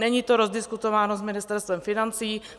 Není to rozdiskutováno s Ministerstvem financí.